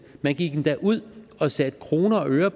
man gik endda ud og satte kroner og øre